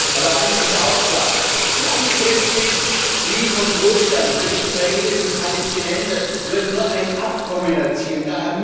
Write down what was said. Aber eines ist auch klar Langfristig Frieden und Wohlstand für die Israelis und die Palästinenser wird nur ein Abkommen erzielen.